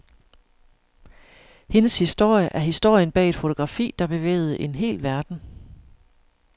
Hendes historie er historien bag et fotografi, der bevægede en hel verden.